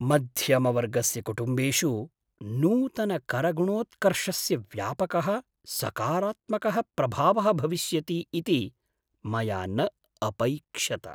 मध्यमवर्गस्य कुटुम्बेषु नूतनकरगुणोत्कर्षस्य व्यापकः सकारात्मकः प्रभावः भविष्यति इति मया न अपैक्ष्यत।